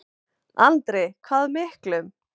Andri: Hvað miklum?